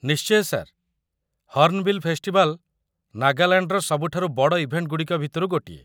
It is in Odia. ନିଶ୍ଚୟ, ସାର୍ ! ହର୍ଣ୍ଣବିଲ୍ ଫେଷ୍ଟିଭାଲ୍ ନାଗାଲାଣ୍ଡର ସବୁଠାରୁ ବଡ଼ ଇଭେଣ୍ଟଗୁଡ଼ିକ ଭିତରୁ ଗୋଟିଏ ।